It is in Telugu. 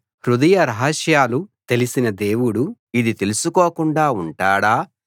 హృదయ రహస్యాలు తెలిసిన దేవుడు ఇది తెలుసుకోకుండా ఉంటాడా